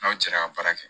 N'aw cɛla ka baara kɛ